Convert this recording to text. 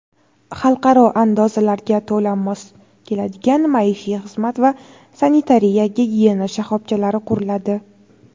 xalqaro andozalarga to‘la mos keladigan maishiy xizmat va sanitariya-gigiyena shoxobchalari quriladi.